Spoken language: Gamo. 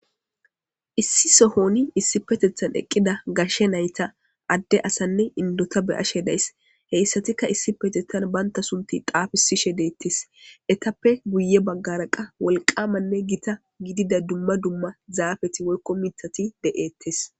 Issi sohon issipetethan eqqida gashe nayta adde asanne inddota be7ays.heytikka issi besunthi xaafishedees.etappe guyye baggara gitanne gashe zaafeti woykko mithati de7eetes.